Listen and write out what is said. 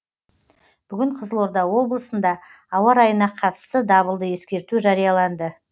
бүгінде қызылорда облысында ауа райына қатысты дабылды ескерту жарияланды